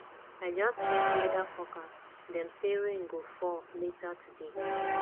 i just check weather forecast dem say rain go fall later today